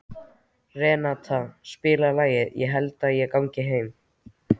Renata, spilaðu lagið „Ég held ég gangi heim“.